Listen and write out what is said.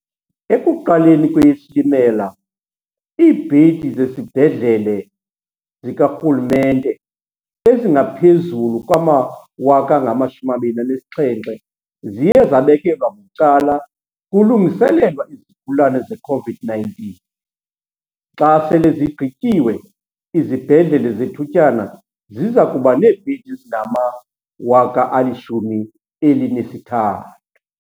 Ekuqaleni kweyeSilimela, iibhedi zezibhedlele zikarhulumente ezingaphezulu kwama-27 000 ziye zabekelwa bucala kulungiselelwa izigulane ze-COVID-19 . Xa sele zigqityiwe, izibhedlele zethutyana ziza kuba neebhedi ezingama-13 000.